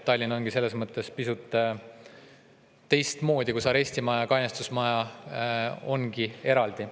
Tallinn on selles mõttes pisut teistmoodi, et arestimaja ja kainestusmaja on eraldi.